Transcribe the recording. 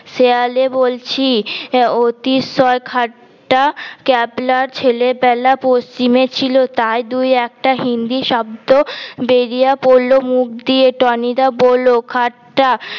শেয়ালে বলছি অতি সর ঠাট্টা ক্যাবলা ছেলে বেলা পচ্ছিমে ছিল তাই দুই একটা হিন্দি শব্দ বরিয়া পরল মুখ দিয়ে টনি দা বলল ঠাট্টা